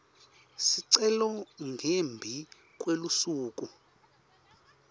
sicelo ngembi kwelusuku